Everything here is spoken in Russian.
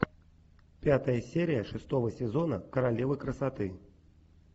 пятая серия шестого сезона королева красоты